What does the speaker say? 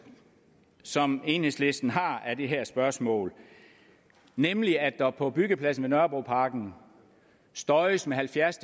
som enhedslisten har af det her spørgsmål nemlig at der på byggepladsen ved nørrebroparken støjes med halvfjerds